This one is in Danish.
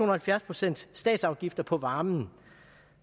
og halvfjerds procent statsafgift på varme at